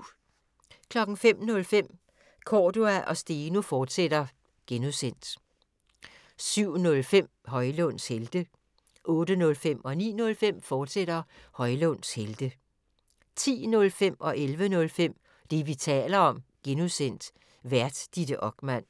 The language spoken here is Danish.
05:05: Cordua & Steno, fortsat (G) 07:05: Højlunds Helte 08:05: Højlunds Helte, fortsat 09:05: Højlunds Helte, fortsat 10:05: Det, vi taler om (G) Vært: Ditte Okman